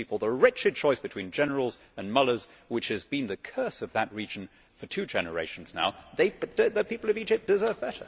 We give people the wretched choice between generals and mullahs, which has been the curse of that region for two generations now. The people of Egypt deserve better.